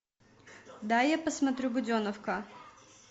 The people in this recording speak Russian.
дай я посмотрю буденовка